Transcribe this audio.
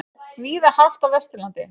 Víða hált á Vesturlandi